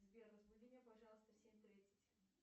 сбер разбуди меня пожалуйста в семь тридцать